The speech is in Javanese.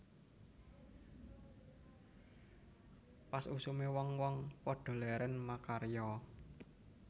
Pas usume wong wong padha leren makarya